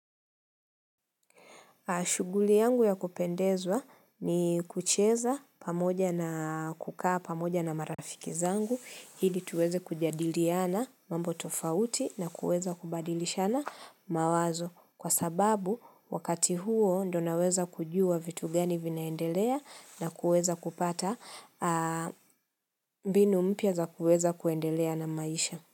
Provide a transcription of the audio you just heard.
Shughuli yangu ya kupendezwa ni kucheza pamoja na kukaa pamoja na marafiki zangu, ili tuweze kujadiliana mambo tofauti na kuweza kubadilishana mawazo. Kwa sababu, wakati huo ndio naweza kujua vitu gani vinaendelea na kuweza kupata mbinu mpya za kuweza kuendelea na maisha.